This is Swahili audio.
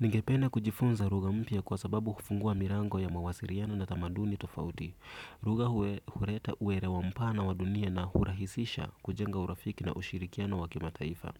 Ningependa kujifunza lugha mpya kwa sababu kufungua milango ya mawasiano na tamaduni tofauti. Lugha huleta uelewa mpana wa dunia na hurahisisha kujenga urafiki na ushirikiana wa kima taifa.